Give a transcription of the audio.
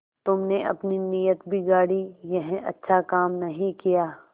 तुमने अपनी नीयत बिगाड़ी यह अच्छा काम नहीं किया